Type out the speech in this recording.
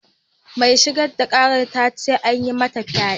Mai shigar da karar ta ce an yi mata fyade.